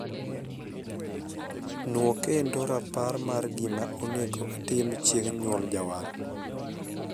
Nwo kendo rapar mar gima onego atim chieng' nyuol jawar.